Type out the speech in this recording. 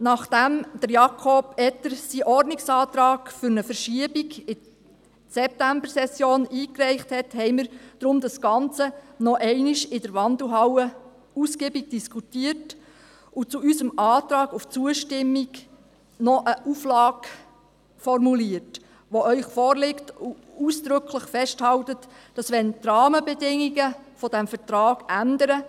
Nachdem Jakob Etter seinen Ordnungsantrag auf Verschiebung in die Septembersession eingereicht hatte, diskutierten wir deshalb das Ganze in der Wandelhalle noch einmal ausgiebig und formulierten zu unserem Antrag auf Zustimmung noch eine Auflage, die Ihnen vorliegt, und die ausdrücklich festhält, dass der Vertrag überprüft werden muss, wenn die Rahmenbedingungen des Vertrags ändern.